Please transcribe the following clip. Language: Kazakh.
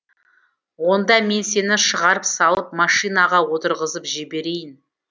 онда мен сені шығарып салып машинаға отырғызып жіберейін